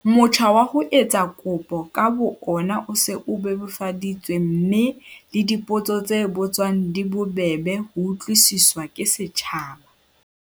Motjha wa ho etsa kopo ka bo ona o se o bebofaditswe mme le dipotso tse botswang di bobebe ho utlwisiswa ke setjhaba.